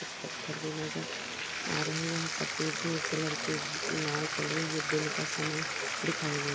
कुछ पत्थर भी नज़र आ रहे हैं यहाँ सफ़ेद कलर की एक नाव चल रही है दिन का समय दिखाई दे--